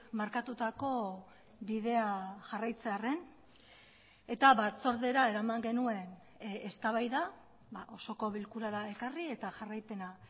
markatutako bidea jarraitzearren eta batzordera eraman genuen eztabaida osoko bilkurara ekarri eta jarraipena